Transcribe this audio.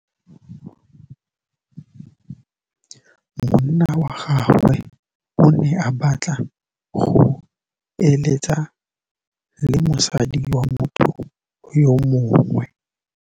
Monna wa gagwe o ne a batla go êlêtsa le mosadi wa motho yo mongwe.